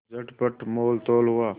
चटपट मोलतोल हुआ